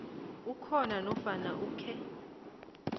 ukhona nofana ukhe